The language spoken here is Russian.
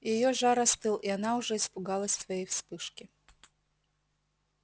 её жар остыл и она уже испугалась своей вспышки